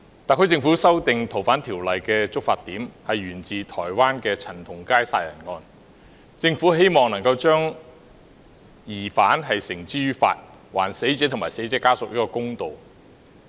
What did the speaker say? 特區政府修訂《逃犯條例》的觸發點是台灣陳同佳殺人案，政府希望將疑犯繩之於法，還死者及死者家屬一個公道。